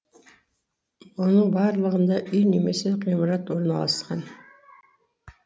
оның барлығында үй немесе ғимарат орналасқан